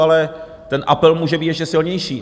Ale ten apel může být ještě silnější.